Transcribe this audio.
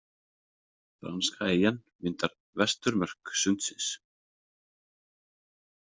Franska eyjan myndar vesturmörk sundsins.